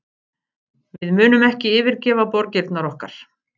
Við munum ekki yfirgefa borgirnar okkar